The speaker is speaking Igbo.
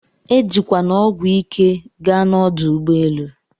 Ejikwana ọgwụ ike gaa na ọdụ ụgbọelụ